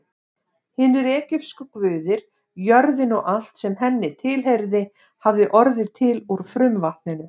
Hinir egypsku guðir, jörðin og allt sem henni tilheyrði, hafði orðið til úr frumvatninu.